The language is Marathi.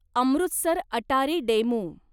अमृतसर अटारी डेमू